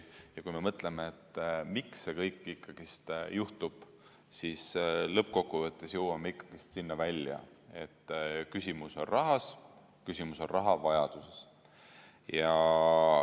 Ja kui me mõtleme, miks see kõik ikkagi juhtub, siis lõppkokkuvõttes jõuame sinna välja, et küsimus on rahas, küsimus on rahavajaduses.